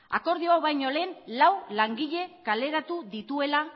akordio hau baino lehen lau langile kaleratu dituela